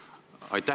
Aitäh!